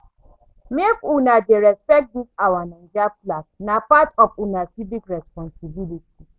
Make una dey respect dis our Naija flag, na part of una civic responsibility.